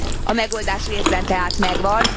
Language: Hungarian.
A megoldás részben tehát megvan.